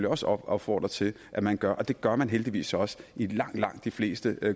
også opfordre til at man gør og det gør man heldigvis også i langt langt de fleste